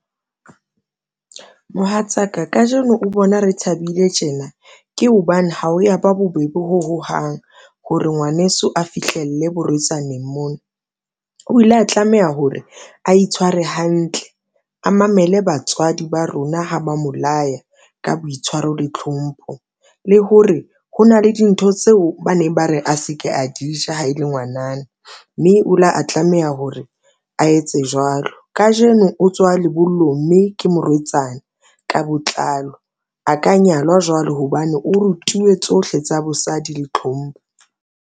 Mohatsaka kajeno o bona re thabile tjena, ke hobane ha o ya ba bobebe ho hohang hore ngwaneso a fihlelle borwetsaneng mono. O ile a tlameha hore a itshware hantle, a mamele batswadi ba rona ha ba mo laya ka boitshwaro le tlhompho, le hore ho na le dintho tseo ba neng ba re a se ke a di ja ha e le ngwanana mme o ile a tlameha hore a etse jwalo kajeno. O tswa lebollong mme ke morwetsana ka botlalo, a ka nyalwa jwalo hobane o rutuwe tsohle tsa bosadi le tlhompho.